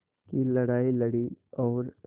की लड़ाई लड़ी और